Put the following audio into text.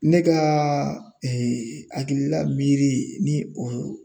Ne ka hakilila miiri ni o